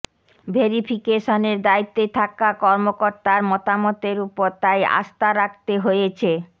ভেরিফিকেশনের দায়িত্বে থাকা কর্মকর্তার মতামতের ওপর তাই আস্থা রাখতে হয়েছে